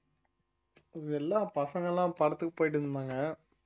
எல்லா பசங்க எல்லாம் படத்துக்கு போயிட்டிருந்தாங்க